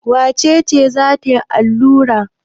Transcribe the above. Wace ce za ta allura?